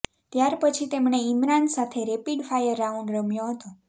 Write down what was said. ત્યાર પછી તેમણે ઇમરાન સાથે રેપીડ ફાયર રાઉંડ રમ્યો હતો